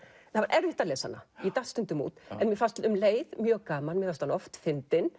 það var erfitt að lesa hana ég datt stundum út en mér fannst um leið mjög gaman fannst hann oft fyndinn